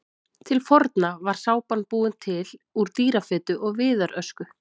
Til forna var sápan búin til úr dýrafitu og viðarösku.